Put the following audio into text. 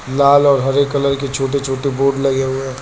लाल और हरे कलर के छोटे छोटे बोर्ड लगे हुए हैं।